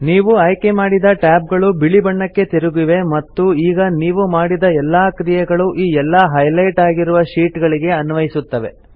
ನೀವು ಆಯ್ಕೆ ಮಾಡಿದ ಟ್ಯಾಬ್ ಗಳು ಬಿಳಿ ಬಣ್ಣಕೆ ತಿರುಗಿವೆ ಮತ್ತು ಈಗ ನೀವು ಮಾಡಿದ ಎಲ್ಲಾ ಕ್ರಿಯೆಗಳೂ ಈ ಎಲ್ಲಾ ಹೈಲೆಟ್ ಆಗಿರುವ ಶೀಟ್ ಗಳಿಗೆ ಅನ್ವಯಿಸುತ್ತವೆ